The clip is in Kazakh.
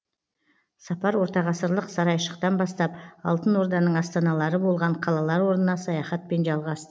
сапар ортағасырлық сарайшықтан бастап алтын орданың астаналары болған қалалар орнына саяхатпен жалғас